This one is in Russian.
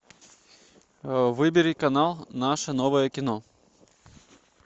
выбери канал наше новое кино